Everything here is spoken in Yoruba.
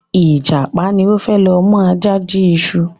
Ìjàpá ni o fẹ lo mu Aja jí iṣu